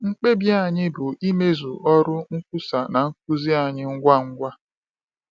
Mkpebi anyị bụ imezu ọrụ nkwusa na nkuzi anyị ngwa ngwa.